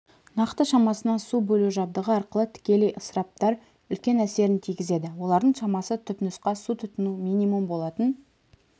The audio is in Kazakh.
нақты шамасына су бөлу жабдығы арқылы тікелей ысыраптар үлкен әсерін тигізеді олардың шамасы түпнұсқа су тұтыну минимум болатын